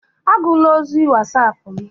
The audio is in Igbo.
Agụla ozi Wasapu m!